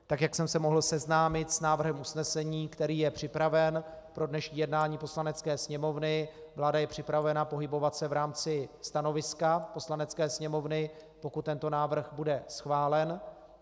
Tak jak jsem se mohl seznámit s návrhem usnesení, který je připraven pro dnešní jednání Poslanecké sněmovny, vláda je připravena pohybovat se v rámci stanoviska Poslanecké sněmovny, pokud tento návrh bude schválen.